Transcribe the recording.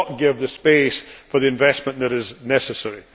One year will not give the space for the investment that is necessary.